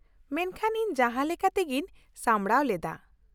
ᱼᱢᱮᱱᱠᱷᱟᱱ ᱤᱧ ᱡᱟᱦᱟᱸᱞᱮᱠᱟᱛᱮᱜᱤᱧ ᱥᱟᱢᱲᱟᱣ ᱞᱮᱫᱟ ᱾